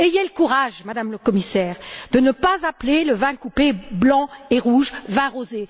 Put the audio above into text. Ayez le courage, Madame la Commissaire, de ne pas appeler le vin coupé blanc et rouge, vin rosé.